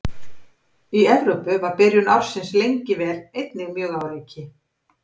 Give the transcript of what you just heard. Í Evrópu var byrjun ársins lengi vel einnig mjög á reiki.